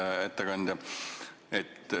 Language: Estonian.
Hea ettekandja!